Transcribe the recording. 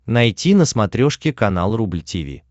найти на смотрешке канал рубль ти ви